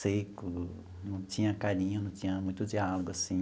Seco, não tinha carinho, não tinha muito diálogo, assim.